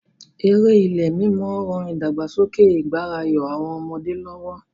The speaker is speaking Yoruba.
Eré ilé-mímọ ran ìdàgbàsókè ìgbáràyọ àwọn ọmọdé lọ́wọ́.